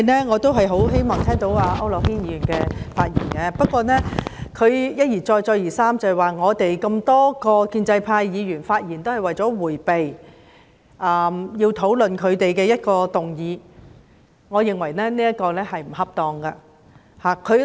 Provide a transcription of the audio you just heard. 我很希望繼續聽區諾軒議員的發言，不過他一而再、再而三地指多位建制派議員的發言均是為了迴避討論反對派提出的議案，我認為這說法不恰當。